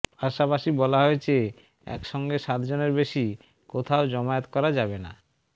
পাশাপাশি বলা হয়েছে একসঙ্গে সাত জনের বেশি কোথাও জমায়েত করা যাবে না